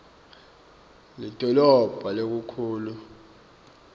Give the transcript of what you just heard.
lidolobha lelikhulu lapho